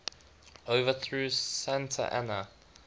overthrew santa anna